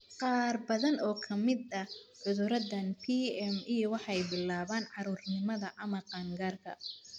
Qaar badan oo ka mid ah cudurradan PME waxay bilaabaan carruurnimada ama qaan-gaarka.